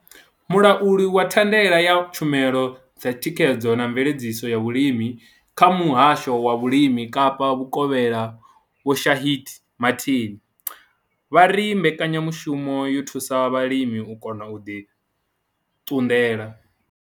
Mulauli wa thandela ya tshumelo dza thikhedzo na mveledziso ya vhulimi kha Muhasho wa Vhulimi Kapa Vhukovhela Vho Shaheed Martin vha ri mbekanya mushumo yo thusa vhalimi u kona u ḓi ṱunḓela.